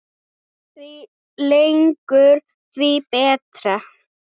Því lengur því betra.